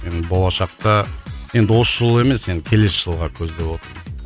енді болашақта енді осы жылы емес енді келесі жылға көздеп отырмын